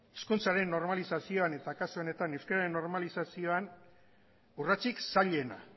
hizkuntzaren normalizazioan eta kasu honetan euskeraren normalizazioan urratsik zailena